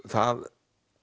það